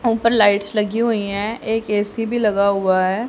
ऊपर लाइट्स लगी हुई हैं एक ए_सी भी लगा हुआ है।